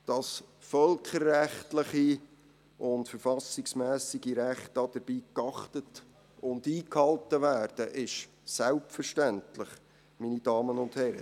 Dass völkerrechtliche und verfassungsmässige Rechte dabei geachtet und eingehalten werden, ist selbstverständlich, meine Damen und Herren.